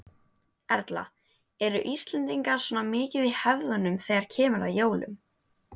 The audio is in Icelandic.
Erla: Eru Íslendingar svona mikið í hefðunum þegar kemur að jólum?